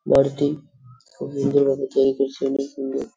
বাড়িটি খুব সুন্দর সুন্দর |